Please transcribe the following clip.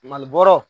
Mali bɔrɔ